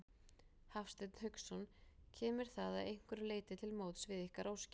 Hafsteinn Hauksson: Kemur það að einhverju leyti til móts við ykkar óskir?